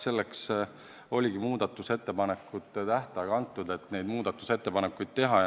Selleks ongi muudatusettepanekute tähtaeg antud, et muudatusettepanekuid teha.